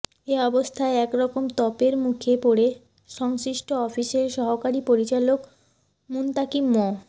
এ অবস্থায় এক রকম তোপের মুখে পড়ে সংশ্লিষ্ট অফিসের সহকারী পরিচালক মুনতাকিম মো